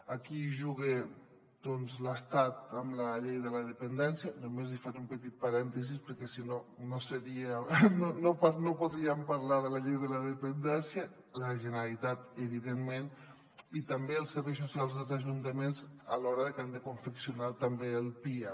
aquí hi juga doncs l’estat amb la llei de la dependència només li faré un petit parèntesi perquè si no no podríem parlar de la llei de la depen·dència la generalitat evidentment i també els serveis socials dels ajuntaments a l’hora de que han de confeccionar també el pia